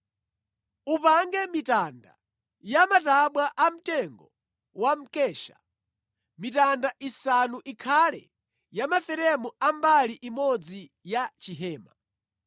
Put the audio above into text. “Upange mitanda ya matabwa amtengo wa mkesha: mitanda isanu ikhale ya maferemu a mbali imodzi ya chihema,